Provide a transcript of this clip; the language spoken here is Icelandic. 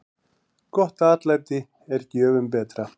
Gott atlæti er gjöfum betra.